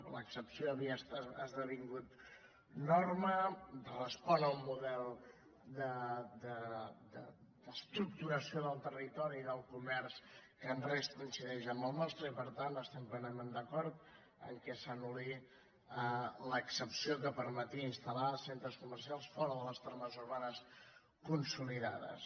l’excepció havia esdevingut norma respon a un model d’estructuració del territori del co·merç que en res coincideix amb el nostre i per tant estem plenament d’acord que s’anul·li l’excepció que permetia instal·lar centres comercials fora de les tra·mes urbanes consolidades